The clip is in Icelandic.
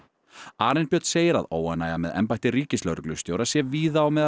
Arinbjörn segir að óánægja með embætti ríkislögreglustjóra sé víða á meðal